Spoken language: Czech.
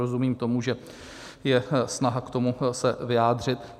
Rozumím tomu, že je snaha k tomu se vyjádřit.